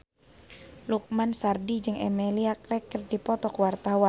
Lukman Sardi jeung Emilia Clarke keur dipoto ku wartawan